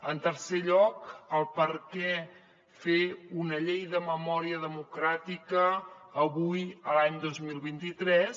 en tercer lloc per què fer una llei de memòria democràtica avui l’any dos mil vint tres